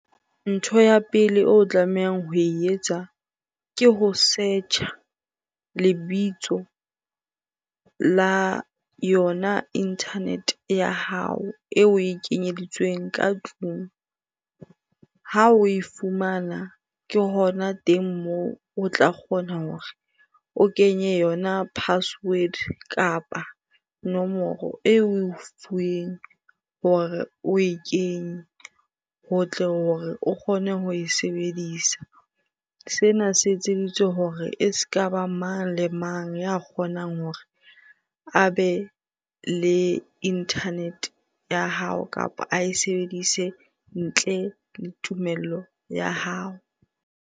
Ntho ya pele o tlamehang ho e etsa, ke ho search-a lebitso la yona internet ya hao e we kenyeditsweng ka tlung. Ha o e fumana ke hona teng moo o tla kgona hore o kenye yona password kapa nomoro eo we fuweng hore o e kenye ho tle hore o kgone ho e sebedisa. Sena se etseditswe hore e ska ba mang le mang ya kgonang hore a be le internet ya hao kapa a e sebedise ntle le tumello ya hao.